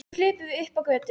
Svo hlupum við upp á götu.